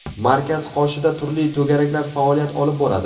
Markaz qoshida turli to‘garaklar faoliyat olib boradi.